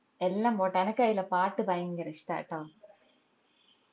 എല്ലം പോട്ടെ അനക്ക് അയിലെ പാട്ട് ഭയങ്കര ഇഷ്ടാട്ടോ